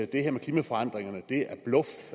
det her med klimaforandringerne er bluff